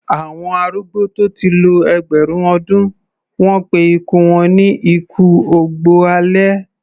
Àwọn arúgbó tó ti lo ẹgbẹ̀rún ọdún, wọ́n pé ikú wọn ni ikú ògbó alẹ́.